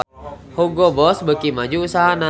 Hugo Boss beuki maju usahana